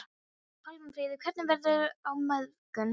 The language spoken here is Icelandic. Pálmfríður, hvernig verður veðrið á morgun?